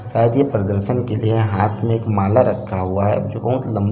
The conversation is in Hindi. --शायद ये प्रदर्शन का लिए हाथ में एक ये माला रखा हुआ है। जो बहुत लम--